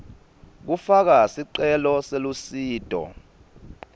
kufaka sicelo selusito